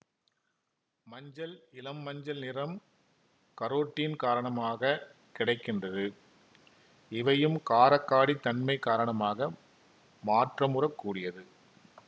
மஞ்சள் இளம் மஞ்சள் நிறம் கரோட்டின் காரணமாக கிடை கின்றது இவையும் கார காடித் தன்மை காரணமாக மாற்றமுறக் கூடியது